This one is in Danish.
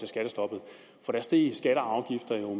skattestoppet for der steg skatter og afgifter jo